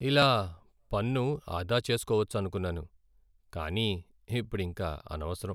ఇలా పన్ను ఆదా చేసుకోవచ్చనుకున్నాను, కానీ ఇప్పుడింక అనవసరం.